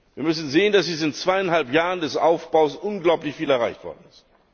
Wir müssen sehen, dass in diesen zweieinhalb Jahren des Aufbaus unglaublich viel erreicht worden ist.